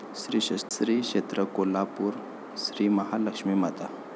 श्री क्षेत्र कोल्हापूर श्रीमहालक्ष्मी माता